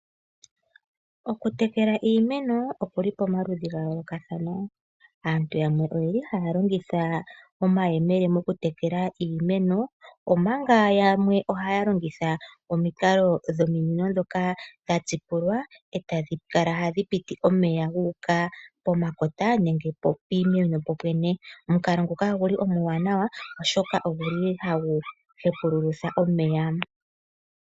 Okutekela iimeno oku li pamaludhi ga yoolokathana, aantu yamwe oye li haya longitha omayemele okutekela iimeno, omanga yamwe ohaya longitha omikalo dhominino dhoka dhuululwa e tadhi kala hadhi piti omeya guuka pomakota nenge piimeno popwene. Omukalo nguka ogu li omuwanawa, oshoka ogu li hagu hepulutha omeya.